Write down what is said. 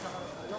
Yaxşı, yaxşı.